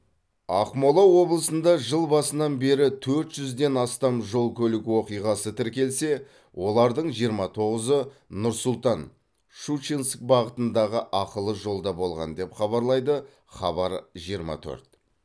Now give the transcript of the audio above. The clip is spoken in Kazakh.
ақмола облысында жыл басынан бері төрт жүзден астам жол көлік оқиғасы тіркелсе олардың жиырма тоғызы нұр сұлтан щучинск бағытындағы ақылы жолда болған деп хабарлайды хабар жиырма төрт